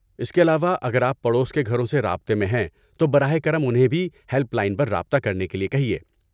اس کے علاوہ، اگر آپ پڑوس کے گھروں سے رابطے میں ہیں تو براہ کرم انہیں بھی ہیلپ لائن پر رابطہ کرنے کے لیے کہیے۔